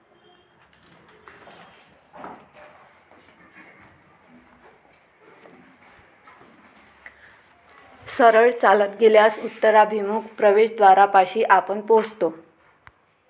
सरळ चालत गेल्यास उत्तराभिमुख प्रवेशद्वारापाशी आपण पोहोचतो.